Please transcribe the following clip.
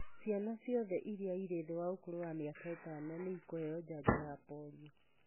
Ciana ciothe iria irĩ thĩ wa ũkũrũ wa mĩaka ĩtano nĩ ikũheo njanjo ya polio.